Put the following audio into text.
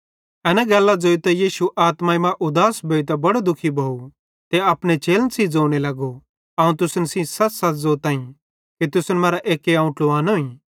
एना गल्लां ज़ोइतां यीशु आत्माई मां उदास भोइतां बड़ो दुःखी भोव ते अपने चेलन सेइं ज़ोने लगो अवं तुसन सेइं सच़सच़ ज़ोतां कि तुसन मरां एक्के अवं ट्लुवानोईं